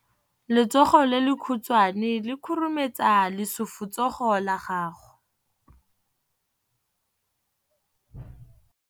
Letsogo le lekhutshwane le khurumetsa lesufutsogo la gago.